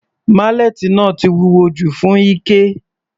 Málẹ́ẹ́tì náà ti wúwo jù fún Ike.